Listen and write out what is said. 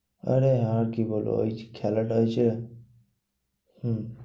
আরে আর কি বলবো, ওই খেলাটা হয়েছে। হম